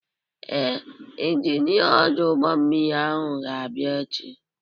Ee, Injinia ọdụ ụgbọmmiri ahụ ga-abịa echi.